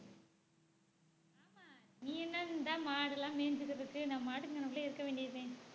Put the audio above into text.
ஆமா நீ என்ன இந்தா மாடு எல்லாம் மேய்ஞ்சிக்கிட்டிருக்கு நம்ம பாட்டுக்கு இங்கனக்குள்ள இருக்க வேண்டியதுதானே